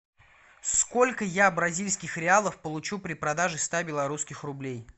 сколько я бразильских реалов получу при продаже ста белорусских рублей